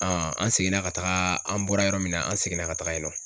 an seginna ka taga an bɔra yɔrɔ min na an seginna ka taga yen nɔ